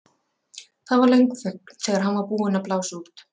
Það varð löng þögn þegar hann var búinn að blása út.